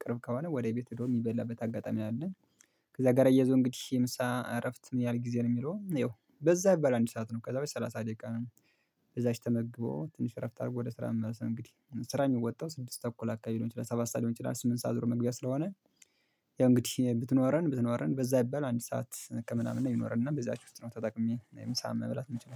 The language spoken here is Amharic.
ቅርብ ከሆነ ወደ ቤት ሄዶ የሚበላበት አጋጣሚ አለ። ከዛ ጋር አያይዞህ እንግዲህ የምሳ እረፍት ምን ያህል ጊዜ ነው የሚለው ይኸው በዛ ይባላል አንድ ሰዓት ነው ከዛ ሰላሳ ደቂቃ ነው እዛች ተመግቦ ትንሽ እረፍት አድርጎ ወደ ስራ መመለስ ነው እንግዲህ ስራ የሚወጣው ስድስት ተኩል አካባቢ ሊሆን ይችላል ሰባት ሰዓት ሊሆን ይችላል ስምንት ሰዓት ዙሮ መግቢያ ስለሆነ ያው እንግዲህ ብትኖረን ብትኖረን በዛ ይባል አንድ ሰዓት ከምናምን ነው ይኖረን እና በዛች ውስጥ ነው ተጠቅሜ የምሳ መብላት የምችለው።